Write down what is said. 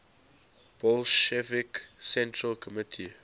bolshevik central committee